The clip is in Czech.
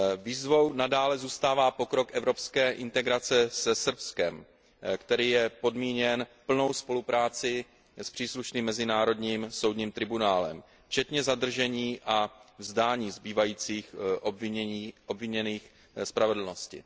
Výzvou nadále zůstává pokrok evropské integrace se Srbskem, který je podmíněn plnou spoluprací s příslušným mezinárodním soudním tribunálem včetně zadržení a vzdání se zbývajících obviněných spravedlnosti.